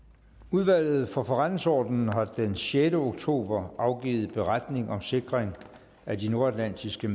udvalget for forretningsordenen har den sjette oktober afgivet beretning om sikring af de nordatlantiske